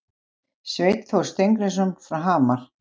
Sveinn Þór Steingrímsson frá Hamar